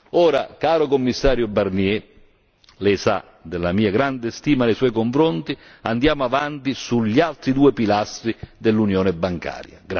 Ora, caro Commissario Barnier, Lei sa della mia grande stima nei suoi confronti, andiamo avanti sugli altri due pilastri dell'Unione bancaria.